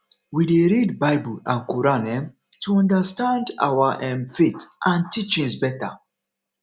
we dey read bible and quran um to understand our um faith and teachings beta